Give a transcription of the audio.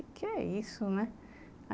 O que é isso, né?